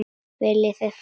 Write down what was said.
Viljið þið far?